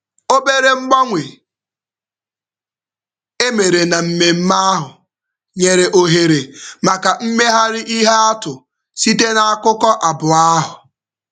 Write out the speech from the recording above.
Obere mgbanwe e mere na mmemme ahụ nyere ohere maka mmegharị ihe atụ site n'akụkụ abụọ ahụ.